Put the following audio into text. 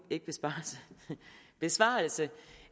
besvarelse